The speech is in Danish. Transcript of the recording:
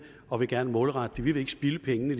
og vil gerne målrette dem vi vil ikke spilde pengene